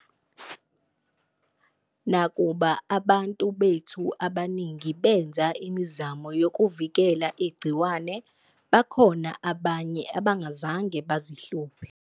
Nakuba abantu bethu abaningi benze imizamo yokuvikela igciwane, bakhona abanye abangazange bazihluphe.